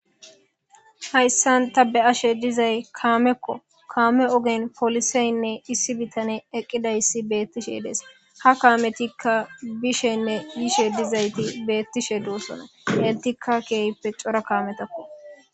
Haysan ta be'ashe dizaysi kameko kame ogen policeyine issi bitaney eqidaysi betishe de'es ha kameti bishene yishe dizayti betishe dosona etika kehippe cora kametako